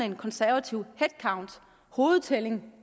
en konservativ head count hovedtælling